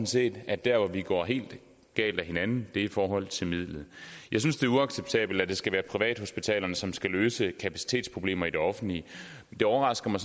set at der hvor vi går helt galt af hinanden er i forhold til midlet jeg synes det er uacceptabelt at det skal være privathospitalerne som skal løse kapacitetsproblemer i det offentlige det overrasker mig